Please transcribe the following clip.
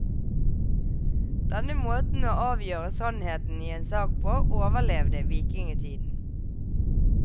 Denne måten å avgjøre sannheten i en sak på, overlevde vikingetiden.